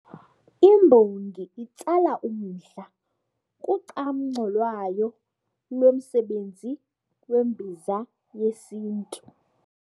Imbongi itsala umdla kucamngco lwayo ngomsebenzi wembiza yesiNtu.